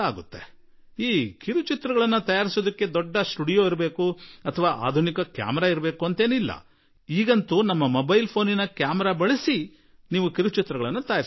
ಅಂತೆಯೇ ಈ ಚಿತ್ರ ನಿರ್ಮಿಸಲು ದೊಡ್ಡ ಸ್ಟುಡಿಯೋ ಬೇಕಿಲ್ಲ ದೊಡ್ಡ ಕ್ಯಾಮೆರಾ ಬೇಕಿಲ್ಲ ಅಯ್ಯೋ ಈಗಂತೂ ನಿಮ್ಮ ಮೊಬೈಲ್ ನ ಕ್ಯಾಮರಾದಿಂದಲೂ ಚಿತ್ರ ತಯಾರಿಸಬಹುದು